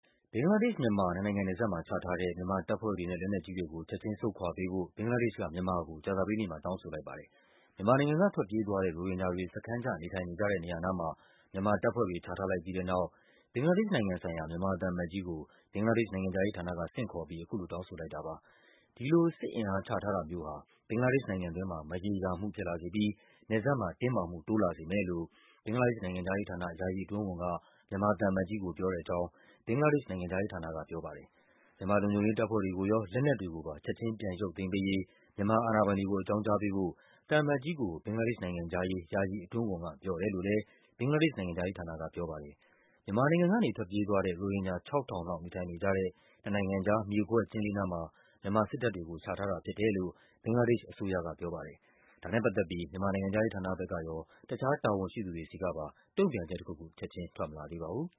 ဘင်္ဂလားဒေ့ရှ်-မြန်မာ နှစ်နိုင်ငံနယ်စပ်မှာ ချထားတဲ့ မြန်မာတပ်ဖွဲ့တွေနဲ့ လက်နက်ကြီးတွေကို ချက်ခြင်း ဆုတ်ခွာပေးဖို့ ဘင်္ဂလား ဒေ့ရှ်က မြန်မာကို ကြာသပတေးနေ့မှာ တောင်းဆိုလိုက်ပါတယ်။ မြန်မာနိုင်ငံက ထွက်ပြေးသွားတဲ့ ရိုဟင်ဂျာတွေ စခန်းချ နေထိုင်နေကြတဲ့နေရာနားမှာ မြန်မာတပ်ဖွဲ့တွေ ချထားလိုက်ပြီးတဲ့နောက် ဘင်္ဂလားဒေ့ရှ်နိုင်ငံဆိုင်ရာ မြန်မာသံအမတ်ကြီးကို ဘင်္ဂလားဒေ့ရှ်နိုင်ငံခြားရေးဌာနက ဆင့်ခေါ်ပြီး အခုလို တောင်းဆိုလိုက်တာပါ။ ဒီလို စစ်အင်အားချထားတာမျိုးဟာ ဘင်္ဂလားဒေ့ရှ်နိုင်ငံတွင်းမှာ မရေရာမှုဖြစ်လာစေပြီး နယ်စပ်မှာ တင်းမာမှု တိုးလာစေမယ်လို့ ဘင်္ဂလားဒေ့ရှ်နိုင်ငံခြားရေးဌာန၊ ယာယီအတွင်းဝန်က မြန်မာသံအမတ်ကြီးကို ပြောတဲ့အကြောင်း ဘင်္ဂလားဒေ့ရှ်နိုင်ငံခြားရေးဌာန ကပြောပါတယ်။ မြန်မာလုံခြုံရေးတပ်ဖွဲ့တွေကိုရော၊ လက်နက်တွေကိုပါ ချက်ခြင်း ပြန်ရုပ်သိမ်းပေးရေး မြန်မာအာဏာပိုင်တွေကို အကြောင်းကြား ပေးဖို့ သံအမတ်ကြီးကို ဘင်္ဂလားဒေ့ရှ်နိုင်ငံခြားရေး ယာယီအတွင်းဝန်က ပြောတယ်လို့လည်း ဘင်္ဂလားဒေ့ရှ်နိုင်ငံခြားရေးဌာနက ပြောပါတယ်။ မြန်မာနိုင်ငံကနေ ထွက်ပြေးသွားတဲ့ ရိုဟင်ဂျာ ၆,၀၀၀ လောက် နေထိုင်နေကြတဲ့ နှစ်နိုင်ငံကြား မြေကွက်ကျဉ်းလေးနားမှာ မြန်မာစစ်တပ်တွေကို ချထားတာဖြစ်တယ်လို့ ဘင်္ဂလားဒေ့ရှ်အစိုးရက ပြောပါတယ်။ ဒါနဲ့ပတ်သက်ပြီး မြန်မာနိုင်ငံခြားရေးဌာနကရော၊ တခြားတာဝန်ရှိသူတွေဆီကပါ တုန့်ပြန်ချက်တခုခု ချက်ခြင်း ထွက်မလာသေးပါဘူး